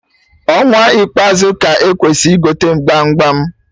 Ọnwa ikpeazu ka-ekwesị igote gbam gbam